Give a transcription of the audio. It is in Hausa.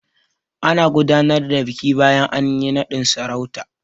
Ana gudanar da biki bayan anyi naɗin sarauta.